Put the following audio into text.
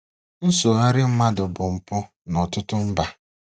Nsogharị mmadụ bụ mpụ nọtụtụ mba.